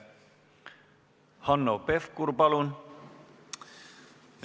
Hanno Pevkur, palun!